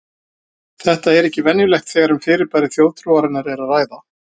Þetta er ekki venjulegt þegar um fyrirbæri þjóðtrúarinnar er að ræða.